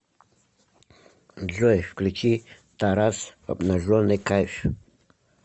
джой включи тарас обнаженный кайф